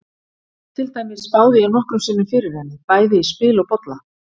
Til dæmis spáði ég nokkrum sinnum fyrir henni, bæði í spil og bolla.